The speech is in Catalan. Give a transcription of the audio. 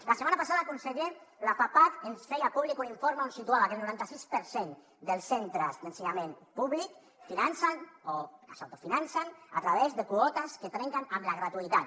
la setmana passada conseller la fapac ens feia públic un informe on situava que el noranta sis per cent dels centres d’ensenyament públic financen o s’autofinancen a través de quotes que trenquen amb la gratuïtat